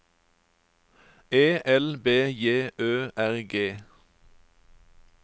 E L B J Ø R G